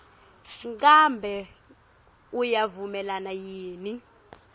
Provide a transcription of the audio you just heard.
ngabe uyavumelana yini